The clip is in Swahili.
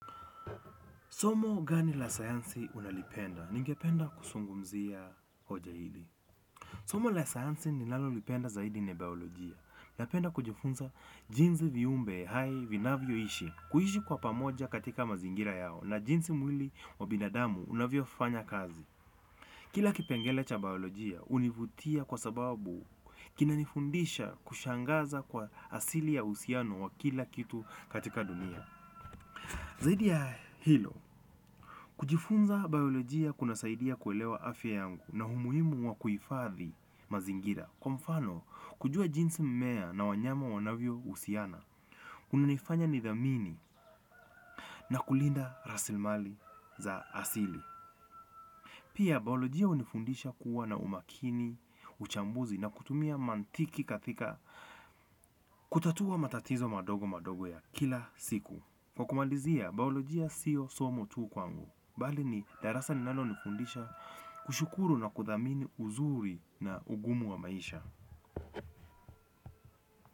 Somo gani la sayansi unalipenda? Ningependa kuzungumzia hoja hili. Somo la sayansi ninalolipenda zaidi ni biolojia. Napenda kujifunza jinsi viumbe hai vinavyo ishi. Kuishi kwa pamoja katika mazingira yao na jinsi mwili wa binadamu unavyofanya kazi. Kila kipengele cha biolojia univutia kwa sababu kinanifundisha kushangaza kwa asili ya uhusiano wa kila kitu katika dunia. Zaidi ya hilo, kujifunza baiolojia kunasaidia kuelewa afya yangu na umuhimu wa kuhifadhi mazingira. Kwa mfano, kujua jinsi mmea na wanyama wanavyo husiana, unanifanya nidhamini na kulinda rasilimali za asili. Pia baiolojia unifundisha kuwa na umakini, uchambuzi na kutumia mantiki katika kutatua matatizo madogo madogo ya kila siku. Kwa kumalizia, baiolojia sio somo tu kwangu. Bali ni darasa linalonifundisha kushukuru na kuthamini uzuri na ugumu wa maisha.